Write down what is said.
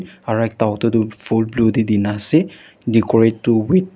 aro ekta auto tu fold blue teh di na ase decorate tu with--